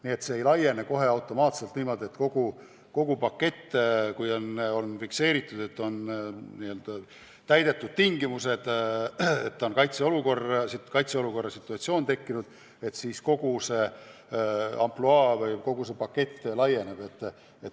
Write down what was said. Nii et see ei laiene kohe automaatselt niimoodi, et kui kaitseolukorra situatsioon on tekkinud, siis kogu see ampluaa või kogu see pakett automaatselt käivitub.